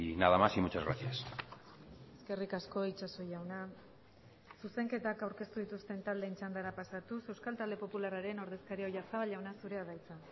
nada más y muchas gracias eskerrik asko itxaso jauna zuzenketak aurkeztu dituzten taldeen txandara pasatuz euskal talde popularraren ordezkaria oyarzabal jauna zurea da hitza